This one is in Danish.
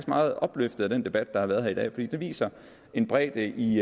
meget opløftet af den debat der har været her i dag fordi den viser bredden i